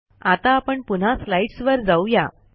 आता आपण पुन्हा स्लाईडस् वर जाऊ या